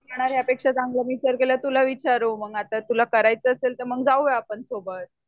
तुला विचारू तुला करायच आसेल तर मग जाऊया आपण सोबत